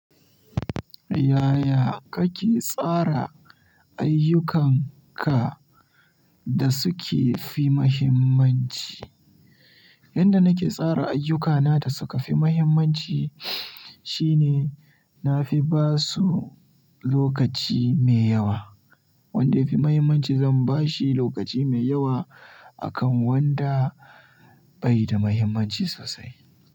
Yaya kake tsara ayyukanka da suke fi muhimmanci? Yanda nake tsara ayyukana da suka fi muhimmanci shine na fi ba su lokaci mai yawa. Wanda ya fi muhimmanci zan ba shi lokaci mai yawa akan wanda bai da muhimmanci sosai.